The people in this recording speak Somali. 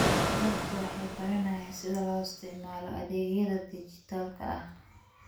Dadku waxay baranayaan sida loo isticmaalo adeegyada dhijitaalka ah.